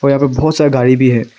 और यहां पर बहोत सा गाड़ी भी है।